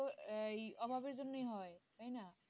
ও আহ অভাবের জন্য হয় তাই না